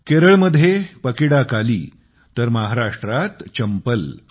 केरळमध्ये पकीडाकाली तर महाराष्ट्रात चंपल